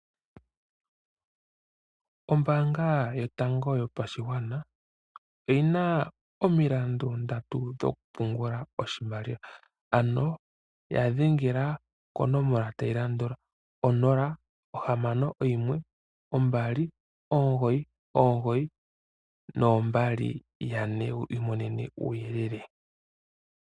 Ombaanga yoyango yopashigwana oyina omilandu ndatu dhokupungula oshimaliwa, ano yadhengela konomola tayi landula 061 299 2222wu i monene uuyelele.